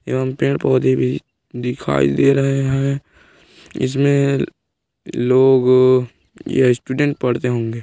यहाँ पेड़ पौधे दिखाई दे रहे हैं इसमें लोग य स्टूडेंट पढ़ते होंगे --